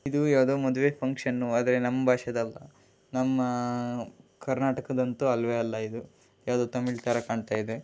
ಇದು ಎದೋ ಮದುವೆ ಫಂಕ್ಷನ್ ಆದರೆ ನಮ್ಮ ಭಾಷೆದು ಅಲ್ಲ ನಮ್ಮ ಕರ್ನಾಟಕದ ಅಂತೂ ಅಲ್ಲವೇ ಅಲ್ಲ. ಎದೋ ತಮಿಳು ಥರ ಕಾಣ್ತಾ ಇದೆ.